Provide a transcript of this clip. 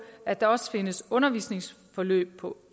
at der også findes undervisningsforløb på